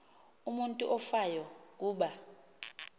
umutu ofayo kuba